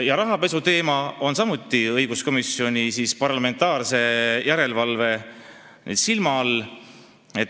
Ja rahapesuteema on samuti õiguskomisjoni ehk siis parlamentaarse järelevalve all.